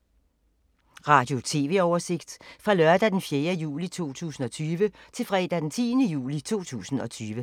Radio/TV oversigt fra lørdag d. 4. juli 2020 til fredag d. 10. juli 2020